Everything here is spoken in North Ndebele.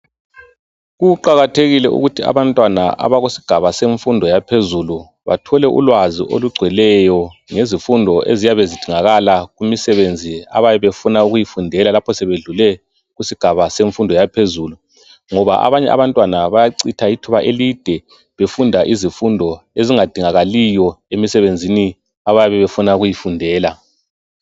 Kuqakathekile ukuthi abantwana abakusigaba semfundo yaphezulu bathole ulwazi olugcweleyo ngezifundo eziyabe zidingakala kumsebenzi abayabe befuna ukuyifundela lapho sebedlule isigaba semfundo yaphezulu ngoba abanye abantwana bayachitha ithuba elide befunda izifundo ezingadingakaliyo emsebenzini abayabe befuna ukuyifundela.